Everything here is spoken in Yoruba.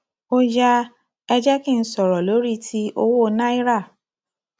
ó yá ẹ jẹ kí n sọrọ lórí ti owó náírà